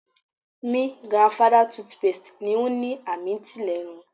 Mi grandfather toothpaste ni o ni a minty lenu